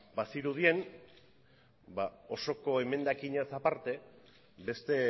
bazirudien osoko emendakinaz aparte beste